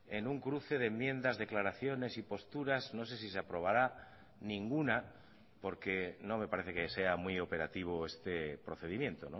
en un cruce de enmiendas declaraciones y posturas no sé si se aprobará ninguna porque no me parece que sea muy operativo este procedimiento